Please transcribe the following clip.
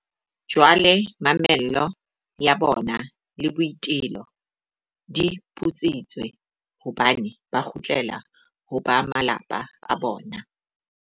Jwale mamello ya bona le boitelo di putsitswe, hobane ba kgutlela ho ba malapa a bona.